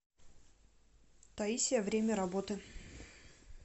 таисия время работы